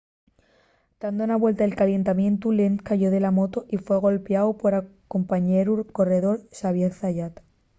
tando na vuelta de calentamientu lenz cayó de la moto y fue golpiáu pol compañeru corredor xavier zayat